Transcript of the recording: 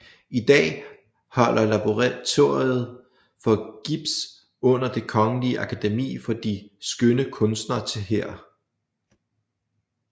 I dag holder Laboratoriet for Gips under Det Kongelige Akademi for de Skønne Kunster til her